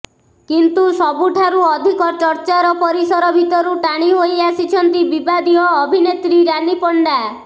କିନ୍ତୁ ସବୁଠାରୁ ଅଧିକ ଚର୍ଚ୍ଚାର ପରିସରଭିତରୁ ଟାଣି ହୋଇ ଆସିଛନ୍ତି ବିବାଦୀୟ ଅଭିନେତ୍ରୀ ରାନୀ ପଣ୍ଡା